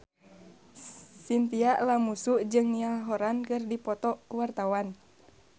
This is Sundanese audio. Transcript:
Chintya Lamusu jeung Niall Horran keur dipoto ku wartawan